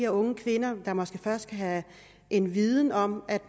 unge kvinder der måske først skal have en viden om at